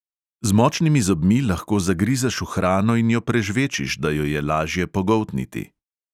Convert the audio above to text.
Z močnimi zobmi lahko zagrizeš v hrano in jo prežvečiš, da jo je lažje pogoltniti.